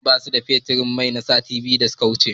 Gidajen man basu da fetur yin sati biyu da suka wuce.